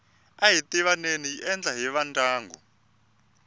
ahi tivaneni yi endliwa hi vandyangu